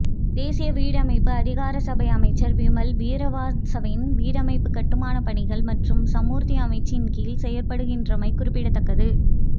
தேசிய வீடமைப்பு அதிகார சபை அமைச்சர் விமல் வீரவன்சவின் வீடமைப்பு கட்டுமானப்பணிகள் மற்றும் சமூர்த்தி அமைச்சின் கீழ் செயற்படுகின்றமை குறிப்பிடத்தக்கது